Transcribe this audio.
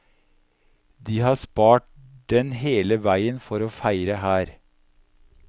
De har spart den hele veien for å feire her.